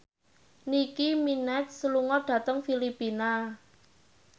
Nicky Minaj lunga dhateng Filipina